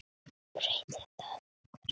Breytir það einhverju?